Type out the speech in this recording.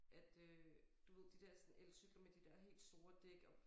At øh du ved de der sådan elcykler med de der helt store dæk og